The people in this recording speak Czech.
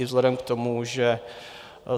I vzhledem k tomu, že